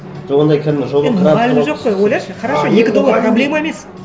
жоқ ондай кәдімгі жоба енді мұғалім жоқ қой ойлашы қарашы екі доллар проблема емес